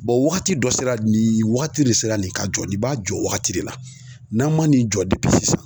wagati dɔ sera nin wagati de sera nin ka jɔ nin b'a jɔ wagati de la. N'an' ma nin jɔ sisan